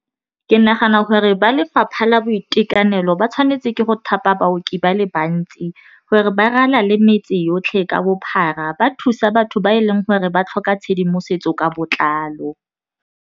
Ke nagana gore ba lefapha la boitekanelo ba tshwanetse ke go thapa baoki ba le bantsi gore ba ralale le metse yotlhe ka bophara ba thusa batho ba e leng gore ba tlhoka tshedimosetso ka botlalo.